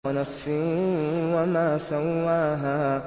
وَنَفْسٍ وَمَا سَوَّاهَا